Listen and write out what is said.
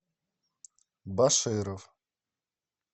баширов